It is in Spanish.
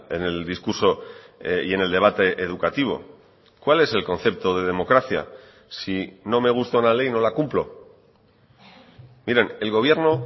en el discurso y en el debate educativo cuál es el concepto de democracia si no me gusta una ley no la cumplo miren el gobierno